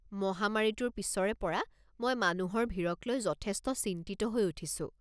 মহামাৰীটোৰ পিছৰে পৰা মই মানুহৰ ভিৰক লৈ যথেষ্ট চিন্তিত হৈ উঠিছোঁ।